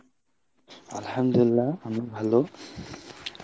আলহামদুলিল্লাহ আমি ভালো।